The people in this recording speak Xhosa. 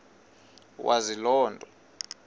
wazi loo nto